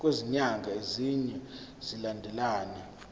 kwezinyanga ezine zilandelana